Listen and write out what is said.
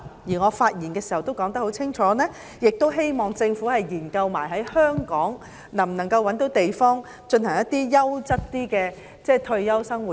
我在發言時也清楚說明，希望政府一併研究在香港覓地，建設較優質的退休生活區。